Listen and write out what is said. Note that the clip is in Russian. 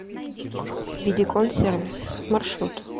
видикон сервис маршрут